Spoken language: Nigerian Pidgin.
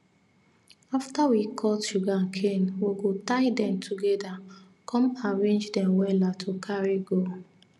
after we cut sugarcane we go tie dem together come arrange dem wella to carry go